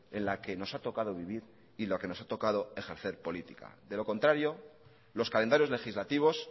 en la que nos ha tocado vivir y lo que nos ha tocado ejercer política de lo contrario los calendarios legislativos